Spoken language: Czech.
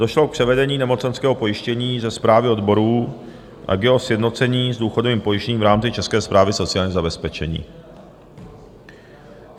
Došlo k převedení nemocenského pojištění ze správy odborů a k jeho sjednocení s důchodovým pojištěním v rámci České správy sociálního zabezpečení.